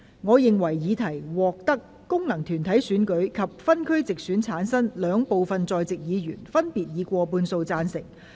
我認為議題獲得經由功能團體選舉產生及分區直接選舉產生的兩部分在席議員，分別以過半數贊成。